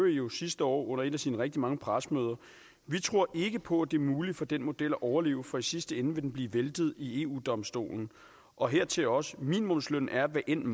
jo sidste år under et af sine rigtig mange pressemøder vi tror ikke på at det er muligt for den model at overleve for i sidste ende vil den blive væltet i eu domstolen og hertil også at minimumslønnen er hvad end